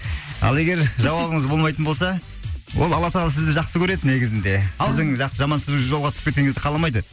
ал егер жауабыңыз болмайтын болса ол алла тағала сізді жақсы көреді негізінде сіздің жаман жолға түсіп кеткеніңізді қаламайды